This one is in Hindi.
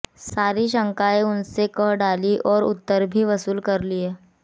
सारी शंकाएं उनसे कह डालीं और उत्तर भी वसूल कर लिए